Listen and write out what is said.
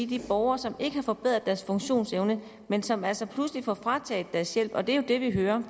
de borgere som ikke har fået forbedret deres funktionsevne men som altså pludselig får frataget deres hjælp og det er det vi hører